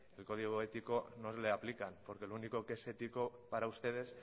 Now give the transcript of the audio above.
el código ético no le aplican porque lo único que es ético para usted